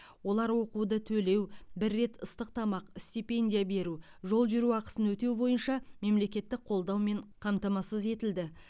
олар оқуды төлеу бір рет ыстық тамақ стипендия беру жол жүру ақысын өтеу бойынша мемлекеттік қолдаумен қамтамасыз етілді